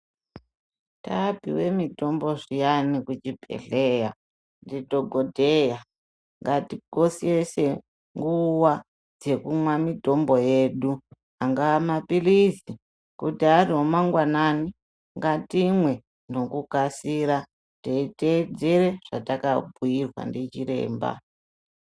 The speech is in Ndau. Taapiwe mitombo zviyani kuchibhedhlera ndidhokodheya ngatikoshese nguva dzekumwa mitombo yedu, angaa mapilizi kuti ari ema ngwanani ngatimwe nekukasira teiteedzere zvatakabhuyirwa ndichiremba.